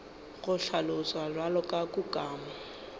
go hlaloswa bjalo ka kukamo